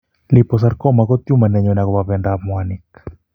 Liposarcoma ko tumor ne nyone akopo bendoap mwaaniik.